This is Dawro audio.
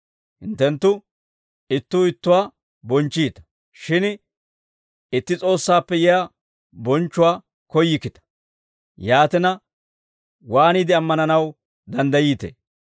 Hinttenttu ittuu ittuwaa bonchchiita; shin itti S'oossaappe yiyaa bonchchuwaa koyyikkita. Yaatina, waaniide ammananaw danddayiite?